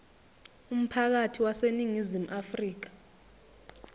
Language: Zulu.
umphakathi waseningizimu afrika